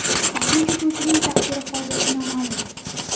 Ikkinchi uchuvchining taqdiri hozircha noma’lum.